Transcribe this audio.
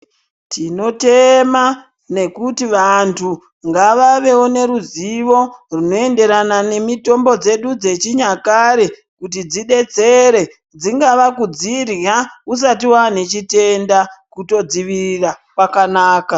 Tinotema ngekuti vantu ngavavevo neruzivo runoenderana nemitombo dzedu dzechinyakare. Kuti dzibetsere dzingava kudzirya usati vane chitenda kutodzirira kwakanaka.